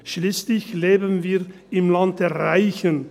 Schliesslich leben wir im Land der Reichen.